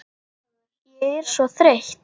Ég er svo þreytt